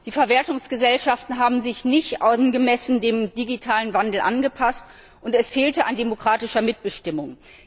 Die Verwertungsgesellschaften haben sich nicht angemessen dem digitalen Wandel angepasst und es fehlte an demokratischer Mitbestimmung.